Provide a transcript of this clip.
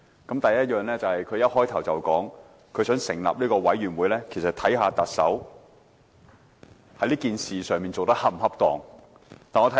她發言開始時便說，成立調查委員會是為調查特首在事件中做得是否恰當。